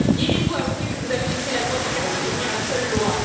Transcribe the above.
Irez vous avouer que vous avez laissé la loi des quartiers devenir la seule loi?